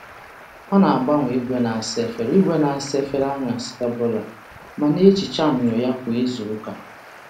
Ọ na-agbanye igwe na-asa efere igwe na-asa efere anyasị ọbụla ma na-ehicha myọ ya kwa izuụka.